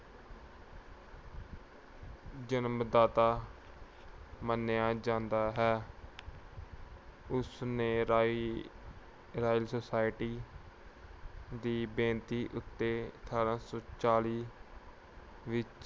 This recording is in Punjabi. ਜਨਮਦਾਤਾ ਮੰਨਿਆ ਜਾਂਦਾ ਹੈ। ਉਸਨੇ ਰਾਇ ਅਹ ਰਾਇਲ ਸੁਸਾਇਟੀ ਦੀ ਬੇਨਤੀ ਉਤੇ ਅਠਾਰਾਂ ਸੌ ਚਾਲੀ ਵਿੱਚ